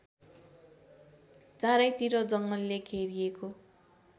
चारैतिर जङ्गलले घेरिएको